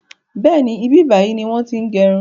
Bẹ́ẹ̀ni, ibi báyìí ni wọn ti ń gẹrun